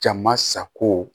Jama sago